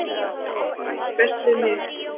og ætti best við mig